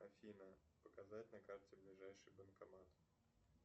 афина показать на карте ближайший банкомат